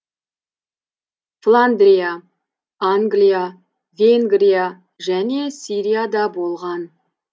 фландрия англия венгрия және сирияда болған